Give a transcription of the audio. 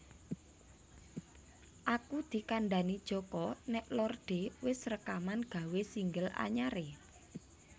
Aku dikandhani Joko nek Lorde wes rekaman gawe single anyar e